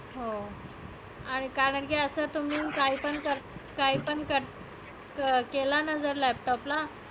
हो कारण की असं तर मी काही पण कर काही पण कर अं केलं ना जर laptop ला